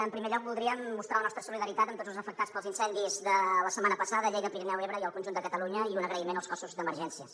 en primer lloc voldríem mostrar la nostra solidaritat amb tots els afectats pels incendis de la setmana passada a lleida pirineu ebre i el conjunt de catalunya i un agraïment als cossos d’emergències